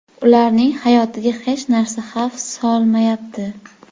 Ularning hayotiga hech narsa xavf solmayapti.